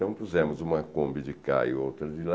Então puzemos uma combi de cá e outra de lá,